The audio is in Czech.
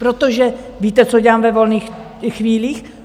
Protože víte, co dělám ve volných chvílích?